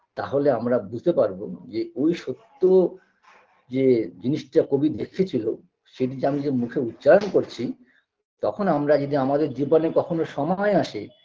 তাহলে আমরা বুঝতে পারবো যে ঐ সত্য যে জিনিসটা কবি দেখেছিল সেটি আমি যে মুখে উচ্চারণ করছি তখন আমরা যদি আমাদের জীবনে কখনো সময় আসে